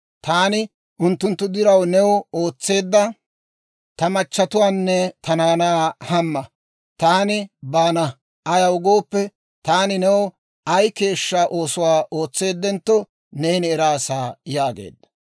Taani unttunttu diraw new ootseedda ta machatuwaanne ta naanaa hamma; taani baana; ayaw gooppe, taani new ay keeshshaa oosuwaa ootseedentto neeni eraasa» yaageedda.